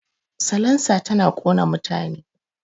Salansa tana ƙona mutane